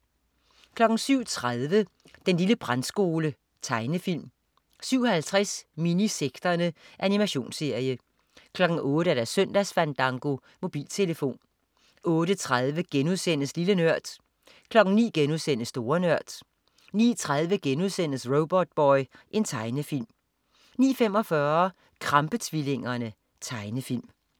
07.30 Den lille brandskole. Tegnefilm 07.50 Minisekterne. Animationsserie 08.00 Søndagsfandango. Mobiltelefon 08.30 Lille Nørd* 09.00 Store Nørd* 09.30 Robotboy.* Tegnefilm 09.45 Krampe-tvillingerne. Tegnefilm